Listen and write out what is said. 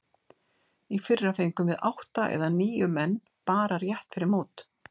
Í fyrra fengum við átta eða níu menn bara rétt fyrir mót.